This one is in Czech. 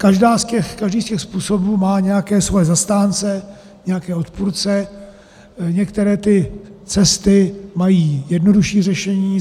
Každý z těch způsobů má nějaké svoje zastánce, nějaké odpůrce, některé ty cesty mají jednodušší řešení.